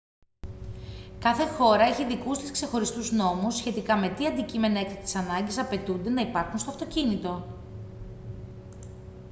κάθε χώρα έχει δικούς της ξεχωριστούς νόμους σχετικά με τι αντικείμενα έκτακτης ανάγκης απαιτούνται να υπάρχουν στο αυτοκίνητο